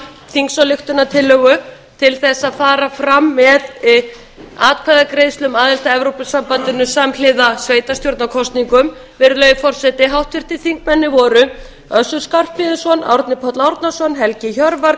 þingsályktunartillögu til þess að fara fram með atkvæðagreiðslu um aðild að evrópusambandinu samhliða sveitarstjórnarkosningum virðulegi forseti þingmennirnir voru össur skarphéðinsson árni páll árnason helgi hjörvar